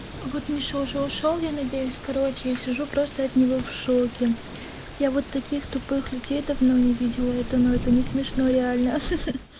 вот миша уже ушёл я надеюсь короче я сижу просто от него в шоке я вот таких тупых людей давно не видела это но это не смешно реально ха-ха